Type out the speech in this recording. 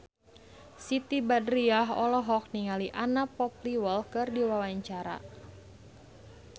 Siti Badriah olohok ningali Anna Popplewell keur diwawancara